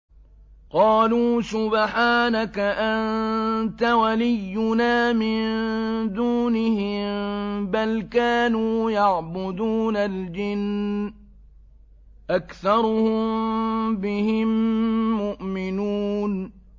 قَالُوا سُبْحَانَكَ أَنتَ وَلِيُّنَا مِن دُونِهِم ۖ بَلْ كَانُوا يَعْبُدُونَ الْجِنَّ ۖ أَكْثَرُهُم بِهِم مُّؤْمِنُونَ